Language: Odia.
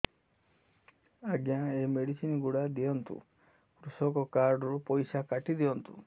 ଆଜ୍ଞା ଏ ମେଡିସିନ ଗୁଡା ଦିଅନ୍ତୁ କୃଷକ କାର୍ଡ ରୁ ପଇସା କାଟିଦିଅନ୍ତୁ